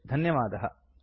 सम्पर्कार्थं धन्यवादाः